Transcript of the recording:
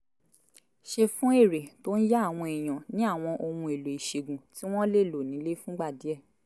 ṣe fún èrè tó ń yá àwọn èèyàn ní àwọn ohun-èlò ìṣègùn tí wọ́n lè lò nílé fúngbà díẹ̀